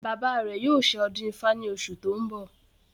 Bàbá rẹ̀ yóò ṣe ọdún ifá ní oṣù tí ó ń bọ̀